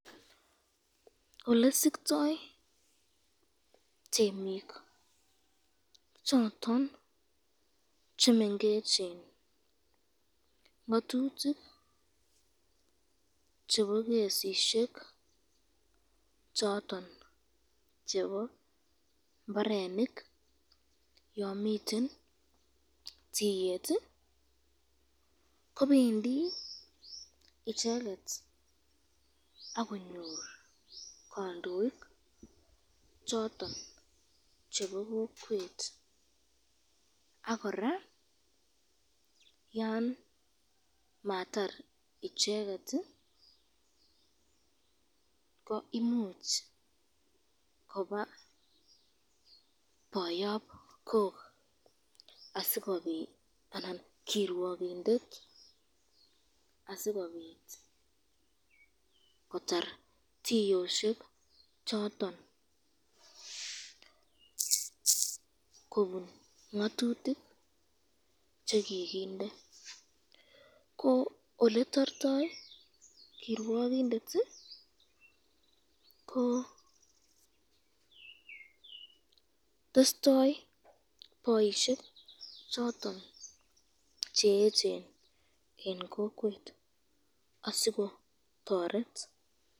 Olesiktoi temik choton chemengechen ngatutik chebo kesisyek choton chebo imbarenik yon miten tiyet, kobendi icheket akonyoru kandoik choton chebo kokwet ,ak koraa yan matar icheket ko imuch koba boyobkok